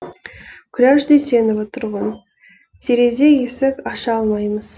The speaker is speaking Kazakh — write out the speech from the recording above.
күләш дүйсенова тұрғын терезе есік аша алмаймыз